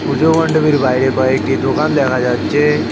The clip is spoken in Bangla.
পুজো মণ্ডপের বাইরে কয়েকটি দোকান দেখা যাচ্ছে।